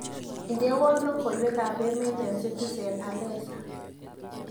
Indenowo logoywekab emet eng citisen alesa